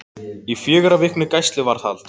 Í fjögurra vikna gæsluvarðhald